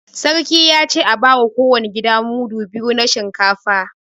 Sarkin ya ce a ba wa kowane gida mudu biyu na shinkafa